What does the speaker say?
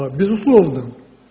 безусловно